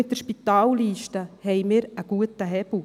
Mit der Spitalliste haben wir einen guten Hebel.